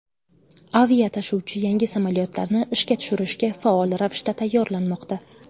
Aviatashuvchi yangi samolyotlarni ishga tushirishga faol ravishda tayyorlanmoqda.